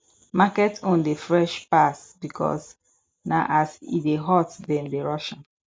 market own dey fresh pass because na as e dey hot dem dey rush am